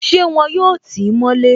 Ṣé wọn yóò tí mọ́ lé?